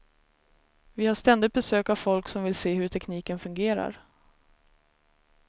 Vi har ständigt besök av folk som vill se hur tekniken fungerar.